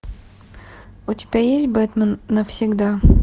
у тебя есть бэтмен навсегда